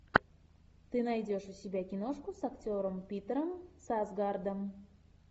ты найдешь у себя киношку с актером питером сарсгаардом